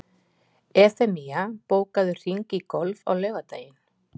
Evfemía, bókaðu hring í golf á laugardaginn.